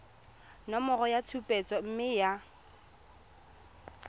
nomoro ya tshupetso mme ya